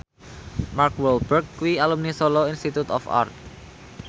Mark Walberg kuwi alumni Solo Institute of Art